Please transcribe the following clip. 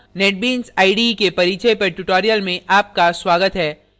netbeans ide के परिचय पर ट्यूटोरियल में आपका स्वागत है